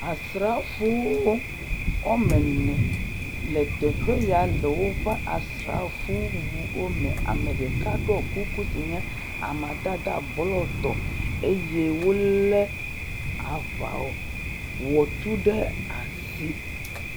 asrafowo wɔmene le teƒeya le wóƒe asrafo wuwo me ameɖeka ɖó kuku si nye amadede blu tɔ eye wóle aʋawɔtu ɖe asi